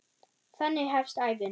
Þannig hefst ævin.